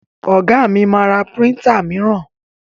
Ọ̀gá mi ma ra príntà míràn.